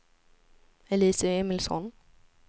Elise Emilsson